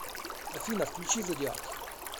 афина включи зодиак